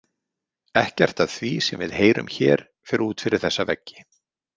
Ekkert af því sem við heyrum hér fer út fyrir þessa veggi.